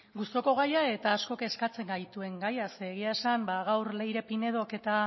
gustuko gaia eta asko kezkatzen gaituen gaia zeren gaur leire pinedok eta